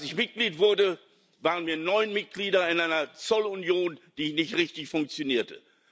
Als ich Mitglied wurde, waren wir neun Mitglieder in einer Zollunion, die nicht richtig funktionierte.